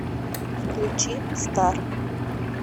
включи стар